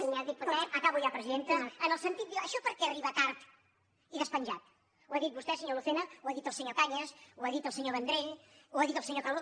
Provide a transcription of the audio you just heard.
acabo ja presidenta en el sentit de dir això per què arriba tard i despenjat ho ha dit vostè senyor lu cena ho ha dit el senyor cañas ho ha dit el senyor vendrell ho ha dit el senyor calbó